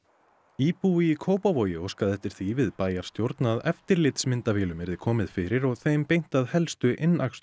íbúi í Kópavogi óskaði eftir því við bæjarstjórn að eftirlitsmyndavélum yrði komið fyrir og þeim beint að helstu